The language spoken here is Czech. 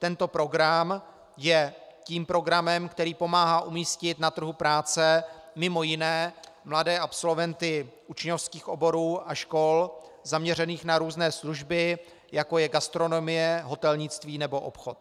Tento program je tím programem, který pomáhá umístit na trhu práce mimo jiné mladé absolventy učňovských oborů a škol zaměřených na různé služby, jako je gastronomie, hotelnictví nebo obchod.